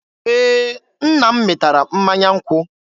Ee, nna m mịtara mmanya nkwụ.